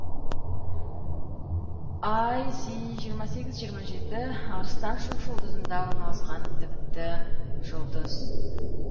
іс жиырма сегіз жиырма жеті арыстан шоқжұлдызында орналасқан тіпті жұлдыз